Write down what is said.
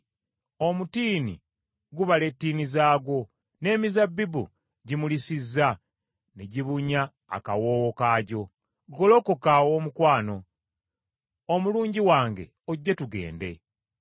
Omutiini gubala ettiini zaagwo, n’emizabbibu gimulisizza ne gibunya akawoowo kaagyo. Golokoka Owoomukwano, omulungi wange ojje tugende.”